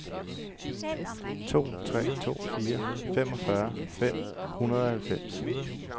to tre to fire femogfyrre fem hundrede og halvfems